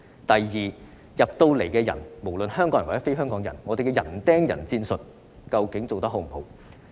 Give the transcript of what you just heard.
第二，入境人士，不論是香港人或非香港人，究竟我們的人盯人戰術做得好不好？